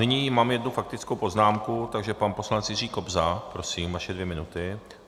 Nyní mám jednu faktickou poznámku, takže pan poslanec Jiří Kobza, prosím, vaše dvě minuty.